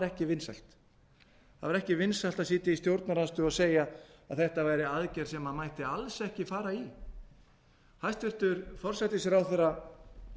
ekki vinsælt það var ekki vinsælt að sitja í stjórnarandstöðu og segja að þetta væri aðgerð sem mætti alls ekki fara í hæstvirtur forsætisráðherra